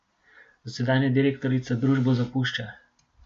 Dosedanja direktorica družbo zapušča.